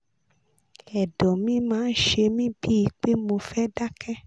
ẹ̀dọ̀ mi máa ń ṣe mí bíi pé mo fẹ́ dákẹ́